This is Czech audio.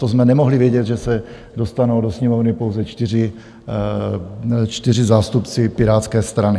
To jsme nemohli vědět, že se dostanou do Sněmovny pouze 4 zástupci Pirátské strany.